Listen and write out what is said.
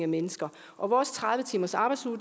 mennesker og vores tredive timersarbejdsuge